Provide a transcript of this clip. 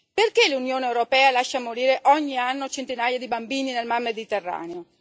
Perché l'Unione europea lascia morire ogni anno centinaia di bambini nel Mar Mediterraneo?